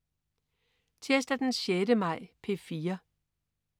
Tirsdag den 6. maj - P4: